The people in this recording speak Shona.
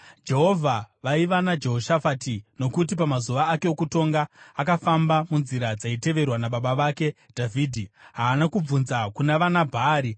Jehovha vaiva naJehoshafati nokuti pamazuva ake okutonga akafamba munzira dzaiteverwa nababa vake Dhavhidhi. Haana kubvunza kuna vana Bhaari.